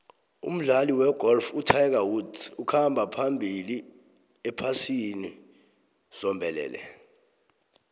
umdlali wegolf utiger woods ukhamba phambili ephasini zombelele